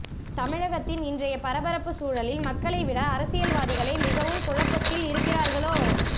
தமிழகத்தின் இன்றைய பரபரப்பு சூழலில் மக்களை விட அரசியல்வாதிகளே மிகவும் குழப்பத்தில் இருக்கிறார்களோ